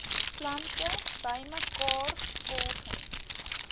plante bymekaar volgens